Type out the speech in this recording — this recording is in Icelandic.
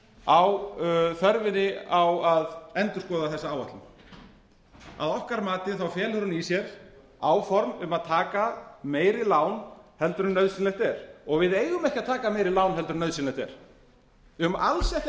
á þörfinni á að endurskoða þessa áætlun að okkar mati þá felur hún í sér áform um að taka meiri lán heldur en nauðsynlegt er við eigum ekki að taka meiri lán heldur en nauðsynlegt er við eigum alls ekki að taka